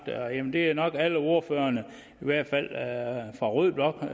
det er nok alle ordførerne i hvert fald fra rød blok der